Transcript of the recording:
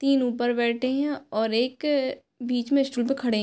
तीन ऊपर बैठे हैं और एक बीच में स्टूल पर खड़े --